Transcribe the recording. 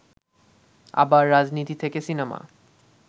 আবার রাজনীতি থেকে সিনেমা